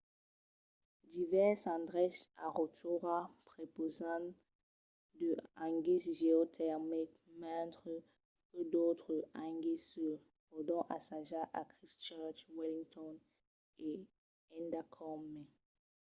divèrses endreches a rotorua prepausan de hangis geotermics mentre que d'autres hangis se pòdon assajar a christchurch wellington e endacòm mai